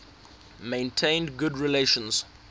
maintained good relations